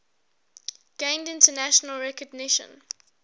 gained international recognition